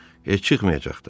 Heç çıxmayacaq da.